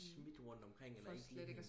smidt rundt omkring eller ikke lige